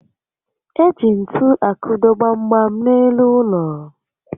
Eji ntu akụdo gbam gbam n'elu ụlọ